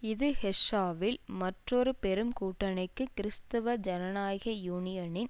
இது ஹெஸ்ஸவில் மற்றொரு பெரும் கூட்டணிக்கு கிறிஸ்துவ ஜனநாயக யூனியனின்